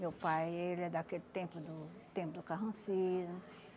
Meu pai, ele é daquele tempo, do tempo do carrancismo.